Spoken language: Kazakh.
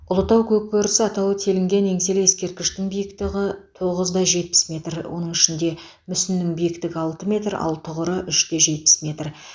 ұлытау көкбөрісі атауы телінген еңселі ескерткіштің биіктығы тоғызда жетпіс метр оның ішінде мүсіннің биіктігі алты метр ал тұғыры үште жетпіс метр